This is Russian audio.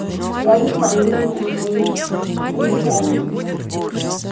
я их фамилии уже и не помню